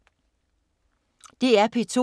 DR P2